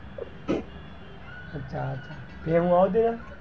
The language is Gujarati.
અચ્છા તે એવું આવડે?